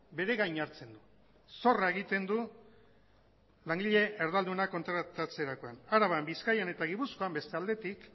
bere gain hartzen du zorra egiten du langile erdalduna kontratatzerakoan araban bizkaian eta gipuzkoan beste aldetik